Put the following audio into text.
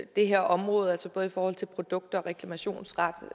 det her område altså både i forhold til produkter og reklamationsret